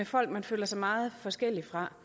folk man føler sig meget forskellig fra